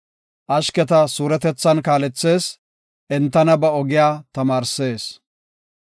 Ashketa suuretethan kaalethees; entana ba ogiya tamaarsees.